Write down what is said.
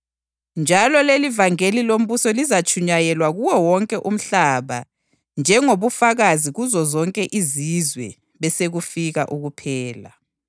Njalo lelivangeli lombuso lizatshunyayelwa kuwo wonke umhlaba njengobufakazi kuzozonke izizwe, besekufika ukuphela.